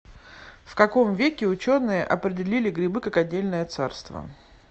в каком веке ученые определили грибы как отдельное царство